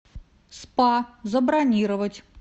спа забронировать